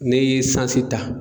Ne ye esansi ta